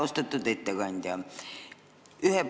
Austatud ettekandja!